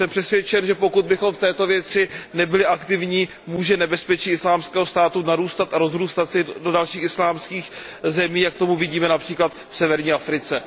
Jsem přesvědčen, že pokud bychom v této věci nebyli aktivní, může nebezpečí Islámského státu narůstat a rozrůstat se do dalších islámských zemích, jak to vidíme např. v severní Africe.